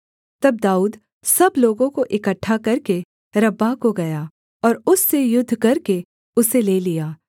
तब दाऊद सब लोगों को इकट्ठा करके रब्बाह को गया और उससे युद्ध करके उसे ले लिया